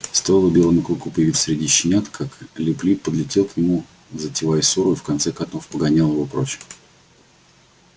стоило белому клыку появиться среди щенят как лип лип подлетел к нему затевая ссору и в конце котов погонял его прочь